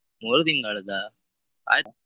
ಮೂರು ತಿಂಗಳದ್ದಾ ಆಯ್ತಾ?